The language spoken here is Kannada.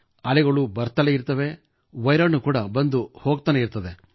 ಅಲೆಗಳು ಬರುತ್ತಲೇ ಇರುತ್ತವೆ ವೈರಾಣು ಕೂಡಾ ಬಂದು ಹೋಗುತ್ತಿರುತ್ತದೆ